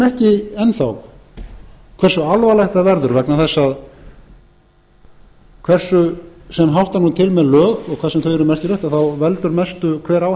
enn þá hversu alvarlegt það verður vegna þess að hversu sem hátta mun til með lög og hvað sem þau eru merkileg veldur mestu hver á